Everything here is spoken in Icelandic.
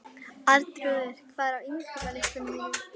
Arnþrúður, hvað er á innkaupalistanum mínum?